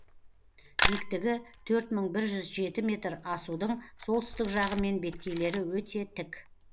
биіктігі төрт мың бір жүз жеті метр асудың солтүстік жағы мен беткейлері өте тік